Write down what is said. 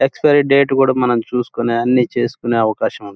Expiry date కూడా మనం చూసుకునే అన్నీ చూసుకునే అవకాశం ఉంది.